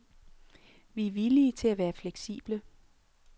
Vi er villige til at være fleksible.